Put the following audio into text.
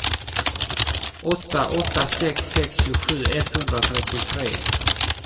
åtta åtta sex sex tjugosju etthundratrettiotre